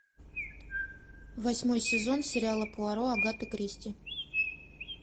восьмой сезон сериала пуаро агаты кристи